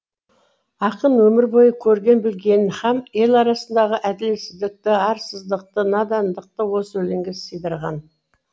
ақын өмір бойы көрген білгенін һәм ел арасындағы әділетсіздікті арсыздықты надандықты осы өлеңге сыйдырған